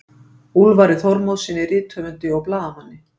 Úlfari Þormóðssyni rithöfundi og blaðamanni.